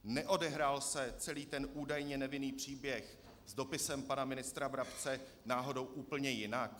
Neodehrál se celý ten údajně nevinný příběh s dopisem pana ministra Brabce náhodou úplně jinak?